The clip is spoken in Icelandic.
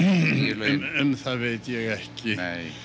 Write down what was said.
lauginni um það veit ég ekki